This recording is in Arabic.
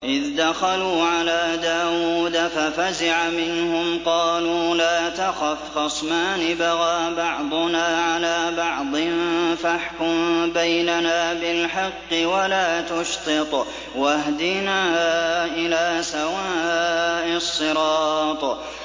إِذْ دَخَلُوا عَلَىٰ دَاوُودَ فَفَزِعَ مِنْهُمْ ۖ قَالُوا لَا تَخَفْ ۖ خَصْمَانِ بَغَىٰ بَعْضُنَا عَلَىٰ بَعْضٍ فَاحْكُم بَيْنَنَا بِالْحَقِّ وَلَا تُشْطِطْ وَاهْدِنَا إِلَىٰ سَوَاءِ الصِّرَاطِ